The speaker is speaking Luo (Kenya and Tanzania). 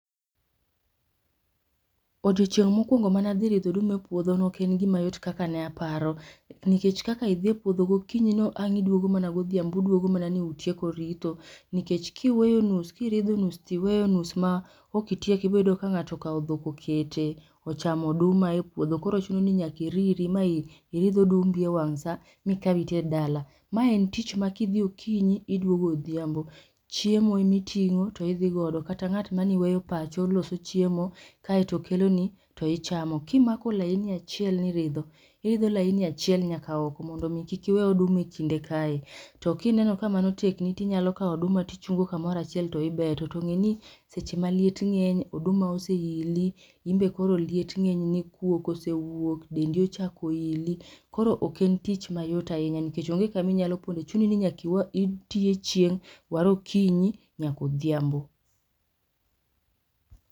odiochieng' mokwongo mane adhi ridho oduma e puodho ne ok en gimayot kaka ne aparo, nikech kaka idhi e puodho gokinyi no ang' iduogo mana godhiambo uduogo mana ni utieko ritho. Nikech kiweyo nus kiridho nus tiweyo nus ma ok itieko iboyudo ka ng'ato okaw dhok okete ochamo oduma e puodho koro chuni nyaki iriri ma i iridh odumbi e wang' saa mikaw iter dala. Ma en tich ma kidhi okinyi, iduogo odhiambo. Chiemo emiting'o to idhi godo kata ng'at maniweyo pacho loso chiemo kaeto keloni to ichamo. Kimako laini achiel ni iridho, iridho laini achiel nyaka oko mondo mi kik iwe oduma e kinde kae. To kineno kamano tekni tinyalo kaw oduma to ichungo kumoro achiel to ibeto to ng'eni seche maliet ng'eny, oduma oseili, imbe koro liet ng'enyni kuok osewuok, dendi ochako ili, koro ok en tich mayot ahinya nikech onge kaminyalo ponde chuni ni nyaka iti e chieng' waro okinyi nyak odhiambo